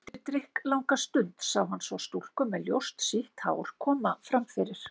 Eftir drykklanga stund sá hann svo stúlku með ljóst, sítt hár koma fram fyrir.